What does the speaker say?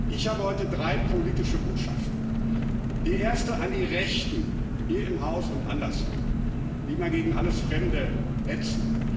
Ich habe heute drei politische Botschaften Die erste an die Rechten hier im Haus und anderswo, die immer gegen alles Fremde hetzen.